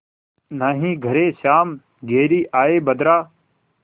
नाहीं घरे श्याम घेरि आये बदरा